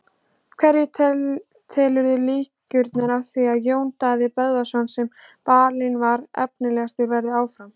Hverja telurðu líkurnar á því að Jón Daði Böðvarsson sem valinn var efnilegastur verði áfram?